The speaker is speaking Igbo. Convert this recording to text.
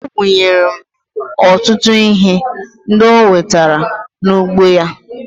O bunyere m ọtụtụ ihe ndị o wutara n'ugbo ya